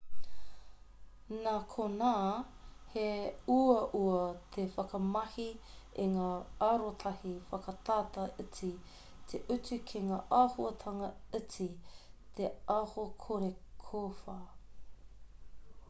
nā konā he uaua te whakamahi i ngā arotahi whakatata iti te utu ki ngā āhuahanga iti te aho kore kōwhā